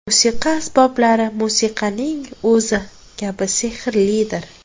Musiqa asboblari musiqaning o‘zi kabi sehrlidir.